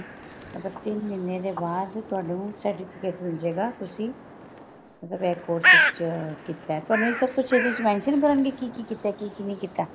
ਅੱਛਾ ਤਿੰਨ ਮਹੀਨੇ ਦੇ ਬਾਅਦ ਤੁਹਾਨੂੰ certificate ਮਿਲ੍ਜੇਗਾ ਤੁਸੀਂ ਮਤਲਬ ਇਹ course ਵਿੱਚ ਤੁਹਾਨੂੰ ਇਹ ਸਭ ਕੁਛ ਇਹਦੇ ਵਿੱਚ mention ਕਰਨ ਲਈ ਕੀ ਕੀ ਕੀਤਾ ਕੀ ਕੀ ਨਹੀਂ ਕੀਤਾ